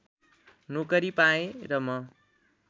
नोकरी पाएँ र म